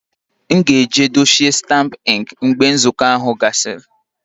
M ga-eji dochie stampụ ink mgbe nzukọ ahụ gwụsịrị